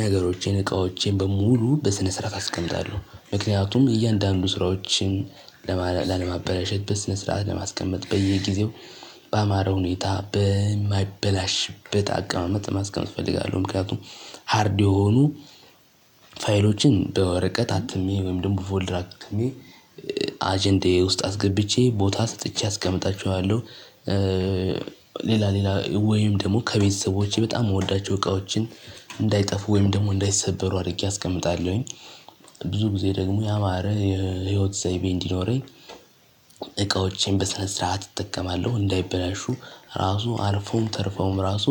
ነገሮቼን እቃዎቼን በሙሉ በስነ ስርዓት አስቀምጣለሁ ምክንያቱም እያንዳንዱ ስራዎችን ላለማበላሸት በስነ ስርዓት ለማስቀመጥ በየጊዜው በአማረ ሁኔታ በማይበላሽበት አቀማመጥ ማስቀመጥ እፈልጋለሁ። ምክንያቱም ሃርድ የሆኑ ፋይሎችን በወረቀት አትሜ ወይም ደግሞ ፎልደር አትሜ አጀንዳየ ውስጥ አስገብቼ ቦታ ሰጥቼ አስቀምጣችኋለሁ። ሌላ ሌላ ወይም ደግሞ ከቤተሰቦቼ በጣም የምወዳቸው እቃዎችን እንዳይጠፉ ወይም ደግሞ እንዳይሰበሩ አድርጌ አስቀምጣለሁኝ። ብዙ ጊዜ ደግሞ ያማረ የህይወት ዘይቤ እንዲኖረኝ እቃዎቼን በስነ ስርዓት እጠቀማለሁ። እንዳይበላሹ ራሱ አልፎም ተርፎም ራሱ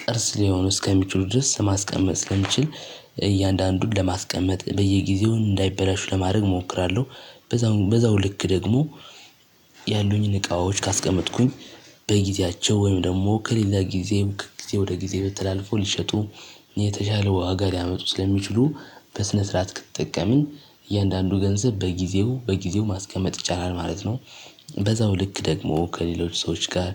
ቅርስ ሊሆን እስከሚችሉ ድረስ ማስቀመጥ ስለሚችል እያንዳንዱን ለማስቀመጥ በየጊዜው እንዳይበላሹ ለማድረግ እሞክራለሁ። በዛው ልክ ደግሞ ያሉኝን እቃዎች ካስቀመጥኩኝ በጊዜያቸው ወይም ደግሞ ከሌላ ጊዜ ከጊዜ ወደ ጊዜ ተላልፎ ሊሸጡ የተሻለ ዋጋ ሊያመጡ ስለሚችሉ በስነ ስርዓት ከተጠቀምን እያንዳንዱ ገንዘብ በጊዜው በጊዜው ማስቀመጥ ይቻላል ማለት ነው። በዛው ልክ ደግሞ ከሌሎች ሰዎች ጋር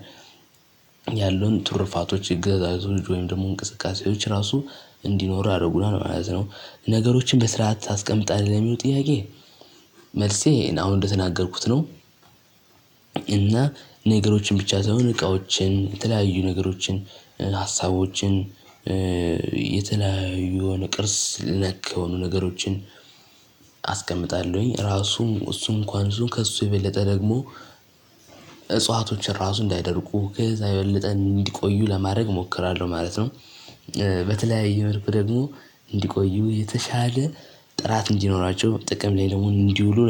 ያሉን ትርፋቶች እገዛዞች ወይም ደግሞ እንቅስቃሴዎች ራሱ እንዲኖር ያደርጉናል ማለት ነው። ነገሮችን በስርዓት ታስቀምጣለህ የሚለው ጥያቄ? መልሴን አሁን እንደተናገርኩት ነው። እና ነገሮችን ብቻ ሳይሆን እቃዎችን የተለያዩ ነገሮችን ሀሳቦችን የተለያዩ የሆነ ቅርስ ነክ የሆኑ ነገሮችን አስቀምጣለሁኝ ራሱም እሱን እንኳን እሱን ከእሱ የበለጠ ደግሞ እጽዋቶችን ራሱ እንዳይደርቁ ከዛ የበለጠ እንዲቆዩ ለማድረግ እሞክራለሁ ማለት ነው። በተለያየ መልኩ ደግሞ እንዲቆዩ የተሻለ ጥራት እንዲኖራቸው ጥቅም ላይ ደግሞ እንዲውሉ